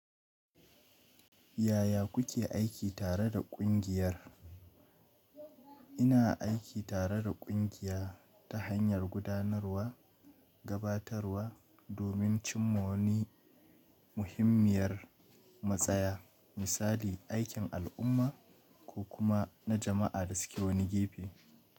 Yaya kuke aiki tare da kungiyar? Ina aiki tare da kungiya ta hanyar gudanarwa, gabatarwa domin cinma wani muhimmiyar matsaya, misali aikin al'umma ko kuma na jama'a da suke wani gefe.